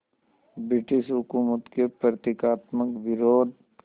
British हुकूमत के प्रतीकात्मक विरोध